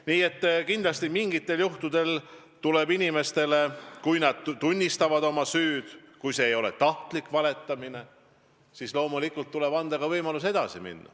Nii et kindlasti tuleb mingitel juhtudel inimestele, kui nad tunnistavad oma süüd ja kui tegemist ei ole olnud tahtliku valetamisega, anda võimalus edasi minna.